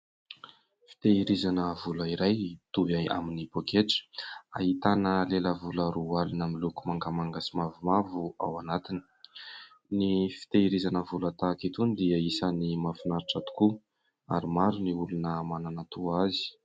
Fitehirizana vola iray toy avy amin'ny poketra ahitana lela vola roalina miloko mangamanga sy mavomavo ao anatin'ny fitehirizana vola tahaka itony dia isany mafinaritra tokoa ary maro ny olona manana toa azy.